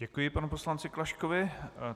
Děkuji panu poslanci Klaškovi.